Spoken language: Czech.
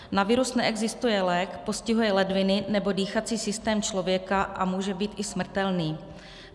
Na virus neexistuje lék, postihuje ledviny nebo dýchací systém člověka a může být i smrtelný.